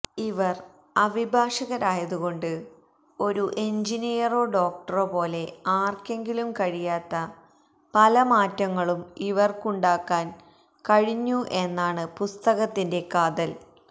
ഇവര് അഭിഭാഷകരായതുകൊണ്ട് ഒരു എഞ്ചിനീയറോ ഡോക്ടറോ പോലെ ആര്ക്കെങ്കിലും കഴിയാത്ത പല മാറ്റങ്ങളും ഇവര്ക്കുണ്ടാക്കാന് കഴിഞ്ഞു എന്നാണ് പുസ്തകത്തിന്റെ കാതല്